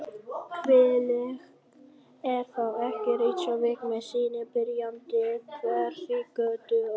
Hvílík er þá ekki Reykjavík með sinni byrjandi Hverfisgötu og